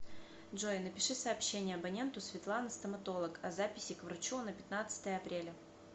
джой напиши сообщение абоненту светлана стоматолог о записи к врачу на пятнадцатое апреля